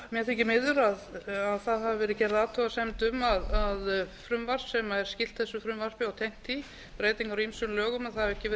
mér þykir miður að það hafi verið gerð athugasemd um að frumvarp sem er skylt þessu frumvarpi og tengt því breytingar á ýmsum lögum vegna